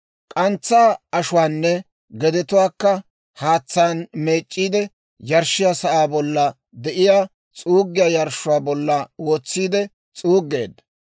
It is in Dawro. K'antsaa ashuwaanne gedetuwaakka haatsaan meec'c'iide, yarshshiyaa sa'aa bollan de'iyaa s'uuggiyaa yarshshuwaa bollan wotsiide s'uuggeedda.